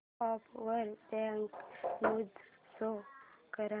app वर breaking news show कर